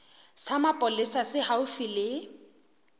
sa mapolesa se haufi le